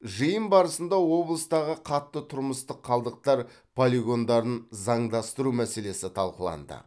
жиын барысында облыстағы қатты тұрмыстық қалдықтар полигондарын заңдастыру мәселесі талқыланды